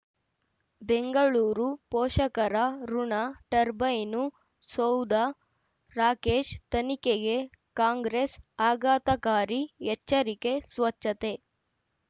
ಬೆಂಗಳೂರು ಪೋಷಕರಋಣ ಟರ್ಬೈನು ಸೌಧ ರಾಕೇಶ್ ತನಿಖೆಗೆ ಕಾಂಗ್ರೆಸ್ ಆಘಾತಕಾರಿ ಎಚ್ಚರಿಕೆ ಸ್ವಚ್ಛತೆ